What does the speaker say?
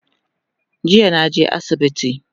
Jiya naje asibiti